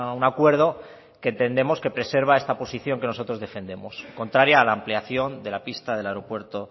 un acuerdo que entendemos que preserva esta posición que nosotros defendemos contraria a la ampliación de la pista del aeropuerto